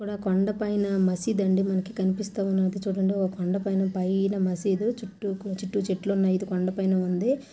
ఇక్కడ కొండపైన మసీదు అండి మనకు కనిపిస్తావున్నది చుడండి ఒక కొండపైన పైన మసీదు చుట్టూ కు-చుట్టూ చెట్లు ఉన్నాయి ఇది కొండపైన ఉంది .